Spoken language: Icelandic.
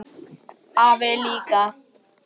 Og afi líka!